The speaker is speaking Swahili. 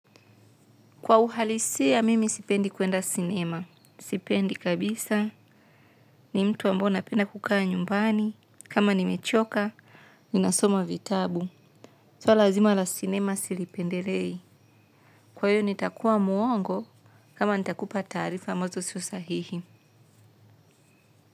Kwa uhalisia mimi sipendi kuenda cinema, sipendi kabisa, ni mtu ambao napenda kukaa nyumbani, kama nimechoka, ni nasoma vitabu. Swala zima la sinema silipendelei. Kwa hiyo nitakuwa mwongo kama nitakupa taarifa ambazo sio sahihi.